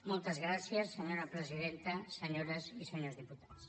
moltes gràcies senyora presidenta senyores i senyors diputats